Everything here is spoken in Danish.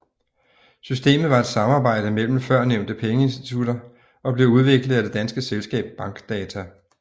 Systemet var et samarbejde mellem førnævnte pengeinstitutter og blev udviklet af det danske selskab Bankdata